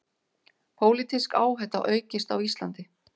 Pólitísk áhætta aukist á Íslandi